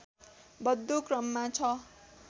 बढ्दो क्रममा छ